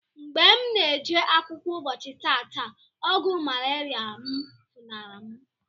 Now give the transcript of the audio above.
Mgbe mụ na-eje akwụkwọ ụbọchi tata, ogwu malaria mụ funari mu.